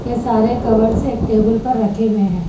यह सारे कवर्स एक टेबल पर रखे हुए हैं।